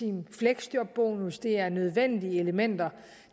en fleksjobbonus det er nødvendige elementer